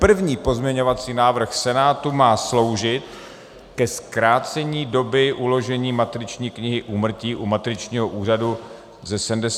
První pozměňovací návrh Senátu má sloužit ke zkrácení doby uložení matriční knihy úmrtí u matričního úřadu ze 75 na 50 let.